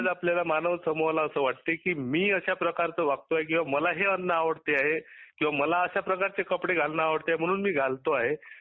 आज आपल्या मानव समुहाला असे वाटते की मी अश्या प्रकरचे वागतो किंवा मला हे अन्न अवडते आहे. मला अश्या प्रकारचे कपडे घालणे आवडते म्हणून मी घालतो आहे